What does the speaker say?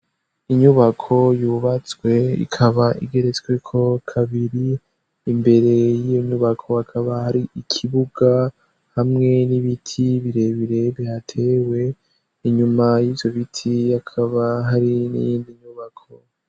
Inyubako yubatswe, ikaba igeretsweko kabiri, imbere y'inyubako hakaba hari ikibuga hamwe n'ibiti birebire bihatewe, inyuma y'ivyo biti hakaba hari n'iyindi nyubako.